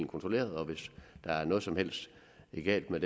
kontrolleret og hvis der er noget som helst galt med